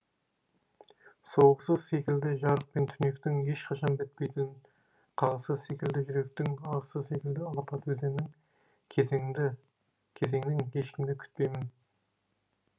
соғысы секілді жарық пен түнектің ешқашан бітпейтін қағысы секілді жүректің ағысы секілді алапат өзеннің кезеңнің ешкімді күтпеймін